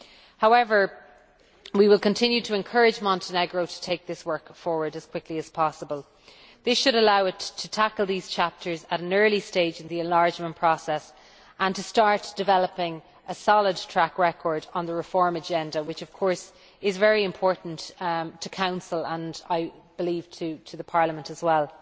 However, we will continue to encourage Montenegro to take this work forward as quickly as possible. This should allow it to tackle these chapters at an early stage in the enlargement process and to start developing a solid track record on the reform agenda, which of course is very important to the Council and, I believe, to Parliament as well.